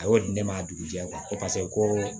A y'o di ne ma a dugujɛ paseke ko